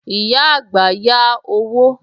Ìyá àgbà yá owó